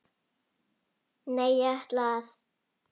Nei, ég ætla að.